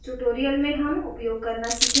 इस ट्यूटोरियल में हम उपयोग करना सीखेंगे